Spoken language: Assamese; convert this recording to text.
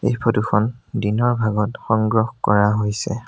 এই ফটো খন দিনৰ ভাগত সংগ্ৰহ কৰা হৈছে।